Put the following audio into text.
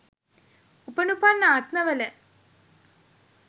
උපනුපන් ආත්ම වල